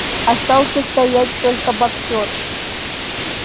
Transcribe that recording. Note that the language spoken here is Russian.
остался стоять только боксёр